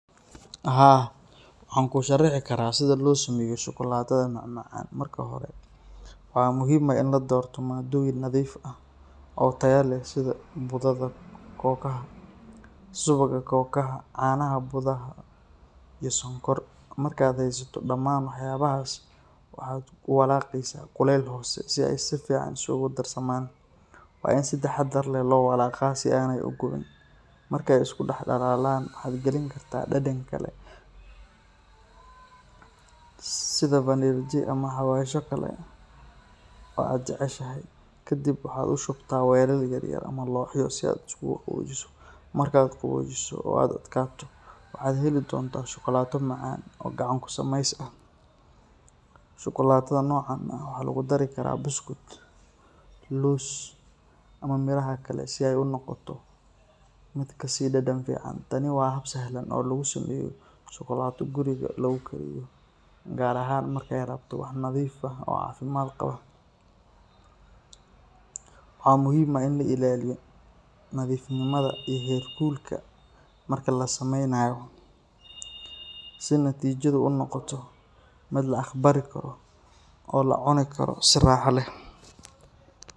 Haa, waxaan kuu sharixi karaa sida loo sameeyo shukulaatada macmacaan. Marka hore, waxaa muhiim ah in la doorto maaddooyin nadiif ah oo tayo leh sida budada kookaha, subagga kookaha, caanaha budada ah iyo sonkor. Markaad haysato dhammaan waxyaabahaas, waxaad ku walaaqaysaa kulayl hoose si ay si fiican isugu darsamaan. Waa in si taxadar leh loo walaaqaa si aanay u gubin. Marka ay isku dhalaalaan, waxaad gelin kartaa dhadhan kale sida vanilj ama xawaashyo kale oo aad jeceshahay. Kadibna waxaad u shubtaa weelal yar yar ama looxyo si ay ugu qaboojiso. Marka ay qaboojiso oo adkaato, waxaad heli doontaa shukulaato macaan oo gacan ku samays ah. Shukulaatada noocan ah waxaa lagu dari karaa buskud, loos ama miraha kale si ay u noqoto mid ka sii dhadhan fiican. Tani waa hab sahlan oo lagu sameeyo shukulaato guriga lagu kariyo, gaar ahaan marka aad rabto wax nadiif ah oo caafimaad qaba. Waxaa muhiim ah in la ilaaliyo nadiifnimada iyo heerkulka marka la sameynayo si natiijadu u noqoto mid la aqbali karo oo la cuni karo si raaxo leh.